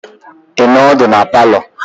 Ị nọ ọdụ na palọ?